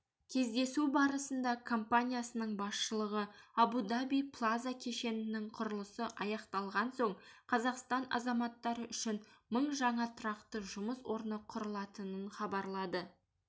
кездесу барысында компаниясының басшылығы абу-даби плаза кешенінің құрылысы аяқталған соң қазақстан азаматтары үшін мың жаңа тұрақты жұмыс орны құрылатынын хабарлады